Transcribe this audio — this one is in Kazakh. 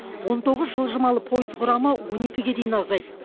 он тоғыз жылжымалы пойыз құрамы он екіге дейін азайды